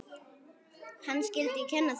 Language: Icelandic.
Hann skyldi kenna þeim.